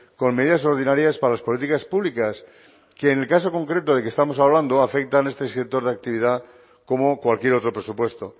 con medidas ordinarias para las políticas públicas que en el caso concreto del que estamos hablando afecta en este sector de actividad como cualquier otro presupuesto